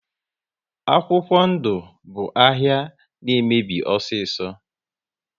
Akwụkwọ ndụ bụ ahịa na emebi osiso